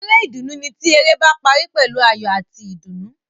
Eré ìdùnnú ni ti eré ba parí pẹ̀lú ayọ̀ ati ìdùnnú.